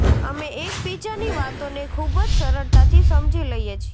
અમે એકબીજાની વાતોને ખૂબ જ સરળતાથી સમજી લઈએ છીએ